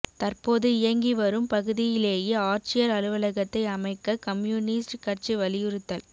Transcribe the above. தற்போது இயங்கிவரும் பகுதியிலேயே ஆட்சியா் அலுவலகத்தை அமைக்க கம்யூனிஸ்ட் கட்சி வலியுறுத்தல்